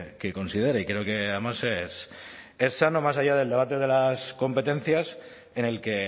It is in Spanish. que considere y creo que además es sano más allá del debate de las competencias en el que